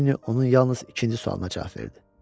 Cinni onun yalnız ikinci sualına cavab verdi.